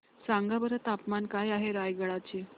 सांगा बरं तापमान काय आहे रायगडा चे